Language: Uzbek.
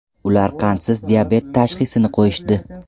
Ular qandsiz diabet tashxisini qo‘yishdi.